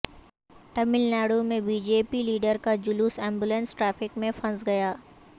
ٹاملناڈو میں B J P leader کا جلوس ایمبولنس ٹریفک میں پھنس گیا